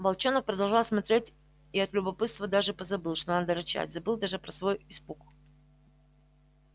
волчонок продолжал смотреть и от любопытства даже позабыл что надо рычать забыл даже про свой испуг